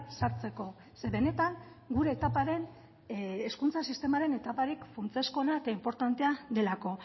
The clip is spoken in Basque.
sartzeko ze benetan gure etaparen hezkuntza sistemaren etaparik funtsezkoena eta inportantea delako